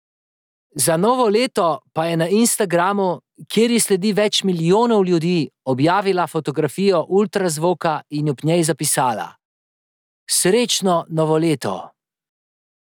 Za novo leto pa je na Instagramu, kjer ji sledi več milijonov ljudi, objavila fotografijo ultrazvoka in ob njej zapisala: 'Srečno novo leto!